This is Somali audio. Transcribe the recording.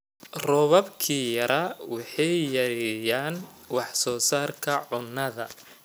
Roobabkii yaraa waxay yareeyaan wax soo saarka cuntada.